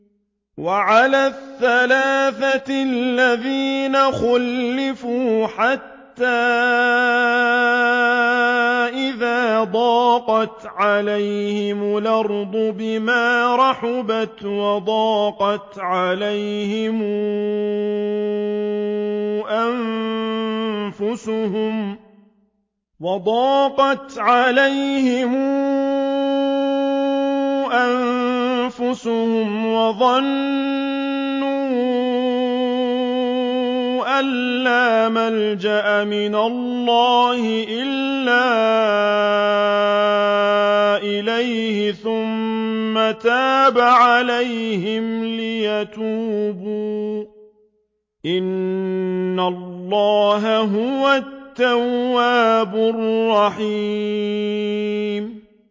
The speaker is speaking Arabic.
وَعَلَى الثَّلَاثَةِ الَّذِينَ خُلِّفُوا حَتَّىٰ إِذَا ضَاقَتْ عَلَيْهِمُ الْأَرْضُ بِمَا رَحُبَتْ وَضَاقَتْ عَلَيْهِمْ أَنفُسُهُمْ وَظَنُّوا أَن لَّا مَلْجَأَ مِنَ اللَّهِ إِلَّا إِلَيْهِ ثُمَّ تَابَ عَلَيْهِمْ لِيَتُوبُوا ۚ إِنَّ اللَّهَ هُوَ التَّوَّابُ الرَّحِيمُ